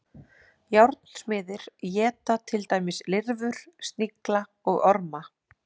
Járnsmiðir éta til dæmis lirfur, snigla og orma.